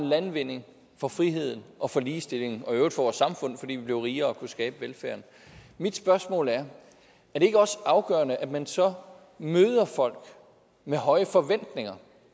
landvinding for friheden og for ligestillingen og i øvrigt for vores samfund fordi vi blev rigere og kunne skabe velfærden mit spørgsmål er er det ikke også afgørende at man så møder folk med høje forventninger